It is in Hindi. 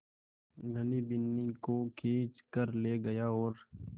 धनी बिन्नी को खींच कर ले गया और